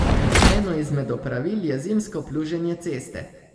Eno izmed opravil je zimsko pluženje ceste.